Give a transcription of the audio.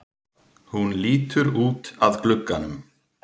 Hún lítur út að glugganum.